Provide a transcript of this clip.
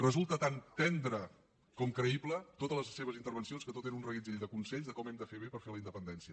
resulta tan tendre com creïble totes les seves intervencions que tot era un reguitzell de consells de com hem de fer bé per fer la independència